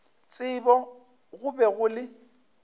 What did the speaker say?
tsebo go be go le